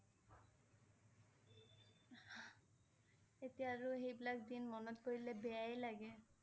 এতিয়া আৰু সেইবিলাক দিন মনত পৰিলে বেয়াই লাগে